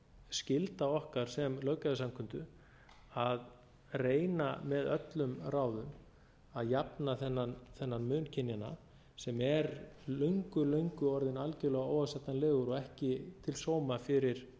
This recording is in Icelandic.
skylda okkar sem löggjafarsamkundu að reyna með öllum ráðum að jafna þennan mun kynjanna sem er löngu löngu orðinn algjörlega óásættanlegur og ekki til sóma fyrir